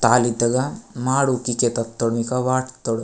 तलितगा माडू किके तटोनिको वाट तोर --